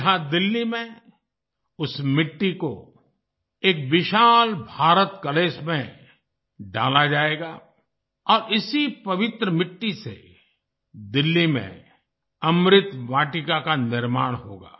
यहाँ दिल्ली में उस मिट्टी को एक विशाल भारत कलश में डाला जाएगा और इसी पवित्र मिट्टी से दिल्ली में अमृत वाटिका का निर्माण होगा